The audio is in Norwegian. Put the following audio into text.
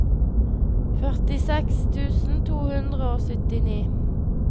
førtiseks tusen to hundre og syttini